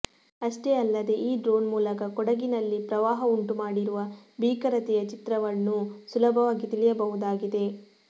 ಅಷ್ಟೆ ಅಲ್ಲದೆ ಈ ಡ್ರೋನ್ ಮೂಲಕ ಕೊಡಗಿನಲ್ಲಿ ಪ್ರವಾಹ ಉಂಟುಮಾಡಿರುವ ಭೀಕರತೆಯ ಚಿತ್ರಣವನ್ನೂ ಸುಲಭವಾಗಿ ತಿಳಿಯಬಹುದಾಗಿದೆ